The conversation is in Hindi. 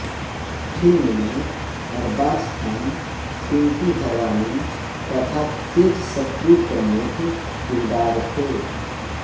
फ़िल्म में अरबाज़ ख़ान पिंकी हरवानी तथा तेज सप्रू प्रमुख किरदार थे